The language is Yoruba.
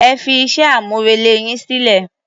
Ẹ fí iṣẹ́-amúrelé yín sílẹ̀.